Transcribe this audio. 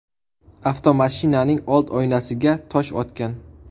avtomashinaning old oynasiga tosh otgan.